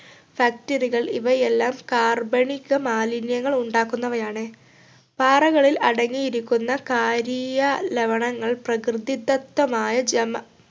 factory കൾ ഇവയെല്ലാം കാർബണിക മാലിന്യങ്ങൾ ഉണ്ടാക്കുന്നവയാണ് പാറകളിൽ അടങ്ങിയിരിക്കുന്ന കാരീയ ലവണങ്ങൾ പ്രകൃതിദത്തമായ ജമാ